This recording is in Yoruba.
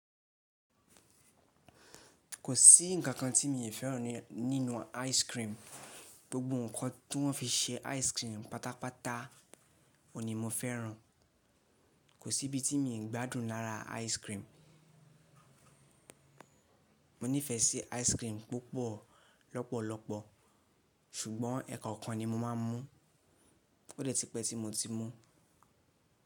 Kò sí ǹkan kan tí mi ò fẹ́ràn nínú ice cream. Gbogbo ǹkan tí wọ́n fi ṣe ice cream pátápátá ò ní mo fẹ́ràn. Kò sí ibi tí mo gbádùn lára ice cream. Mo nífẹsí ice cream púpọ̀ lọ́pọ̀lọpọ̀ ṣùgbọ́n ẹ̀kọ̀kan ni mo máa n mú. Ó dè ti pẹ́ tí mo ti mú.